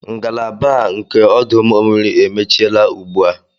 Ngalaba a nke ọdụ ụgbọ mmiri emechiela ugbu a